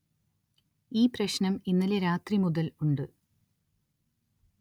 ഈ പ്രശ്നം ഇന്നലെ രാത്രി മുതല്‍ ഉണ്ട്